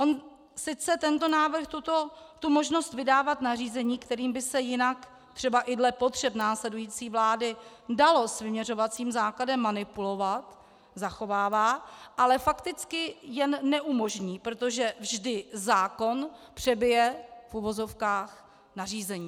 On sice tento návrh možnost vydávat nařízení, kterým by se jinak třeba i dle potřeb následující vlády dalo s vyměřovacím základem manipulovat, zachovává, ale fakticky jen neumožní, protože vždy zákon přebije, v uvozovkách, nařízení.